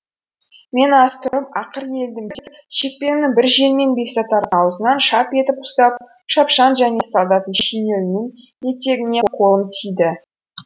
мен аз тұрып ақыр елдім деп шекпенімнің бір жеңімен бесатардың аузынан шап етіп ұстап шапшаң және солдаттың шинелінің етегіне қолым тиді